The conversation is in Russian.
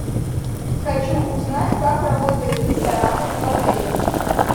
хочу узнать как работают рестораны в отеле